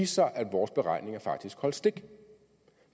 sig at vores beregninger faktisk holdt stik